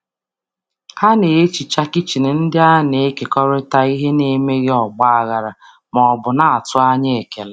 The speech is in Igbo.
Ha kpochara kichin a na-ekerịta um n’emeghị mkpọtụ ma ọ bụ um tụrụ um anya ekele.